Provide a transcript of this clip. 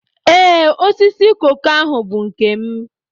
Ee, osisi koko ahu bụ nke m